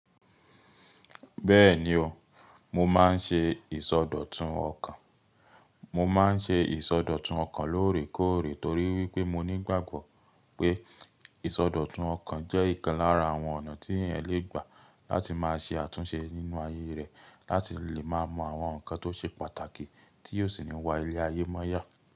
Bẹ́ẹ̀ni o, mo máa ń ṣe ìsọdọ̀tun ọkàn. Mo máa ń ṣe ìsọdọ̀tun ọkàn lóòrèkóòrè torí wípé mo nígbàgbọ́ pé ìsọdọ̀tun ọkàn jẹ́ ìkan lára àwọn ọ̀nà tí èèyàn le gbà láti máa ṣe àtúnṣe nínú ayé rẹ̀, láti lè máa mọ àwọn nǹkan tó ṣe pàtàkì tí o sì ní wá ilé ayé mọ́ yá.